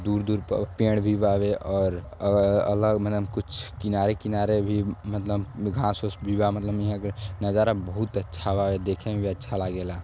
दूर-दूर प पेड़ भी बावे और अ अलग मनेम कुछ किनारे किनारे भी मतलब घास ओस भी बा। मतलब ईहा के नजारा बहुत अच्छा बावे। देखे में भी अच्छा लागेला।